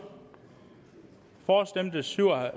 for stemte syv og